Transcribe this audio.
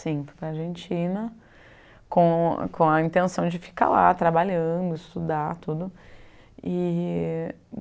Sim, fui para a Argentina com a com a intenção de ficar lá, trabalhando, estudar tudo. E